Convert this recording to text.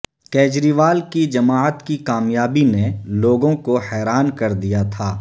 کیجریوال کی جماعت کی کامیابی نے لوگوں کو حیران کر دیا تھا